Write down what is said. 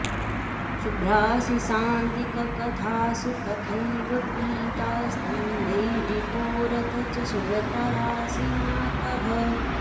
शुभ्रासि शान्तिककथासु तथैव पीता स्तम्भे रिपोरथ च शुभ्रतरासि मातः